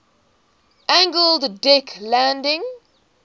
angled deck landing